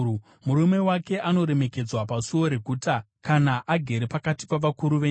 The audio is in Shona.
Murume wake anoremekedzwa pasuo reguta, kana agere pakati pavakuru venyika.